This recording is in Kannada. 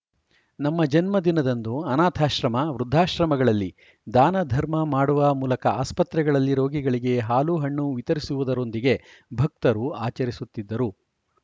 ನಮ್ಮ ಜನ್ಮ ದಿನದಂದು ಅನಾಥಾಶ್ರಮ ವೃದ್ದಾಶ್ರಮ ಗಳಲ್ಲಿ ದಾನ ಧರ್ಮ ಮಾಡುವ ಮೂಲಕ ಆಸ್ಪತ್ರೆಗಳಲ್ಲಿ ರೋಗಿಗಳಿಗೆ ಹಾಲು ಹಣ್ಣು ವಿತರಿಸುವುದರೊಂದಿಗೆ ಭಕ್ತರು ಆಚರಿಸುತ್ತಿದ್ದರು